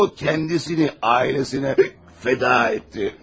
O, kəndisini ailəsinə fəda etdi.